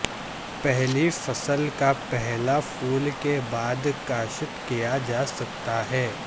پہلی فصل کا پہلا پھول کے بعد کاشت کیا جا سکتا ہے